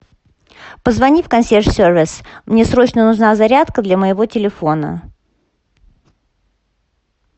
позвони в консьерж сервис мне срочно нужна зарядка для моего телефона